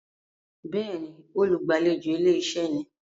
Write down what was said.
Béèni, olùgbàlejò ilé-iṣẹ́ ni.